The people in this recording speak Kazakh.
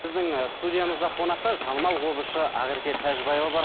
біздің ііі студиямызда қонақта танымал қобызшы ақерке тәжібаева бар